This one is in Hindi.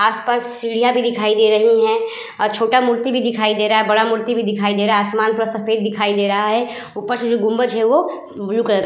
आस-पास सीढ़ियाँ भी दिखाई दे रही हैं अ छोटा मूर्ति भी दिखाई दे रहा और बड़ा मूर्ति भी दिखाई दे रहा। आसमान पर सफेद दिखाई दे रहा है। ऊपर से गुंबज है जो ब्लू कलर --